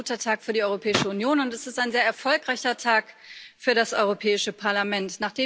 Heute ist ein guter Tag für die Europäische Union, und es ist ein sehr erfolgreicher Tag für das Europäische Parlament.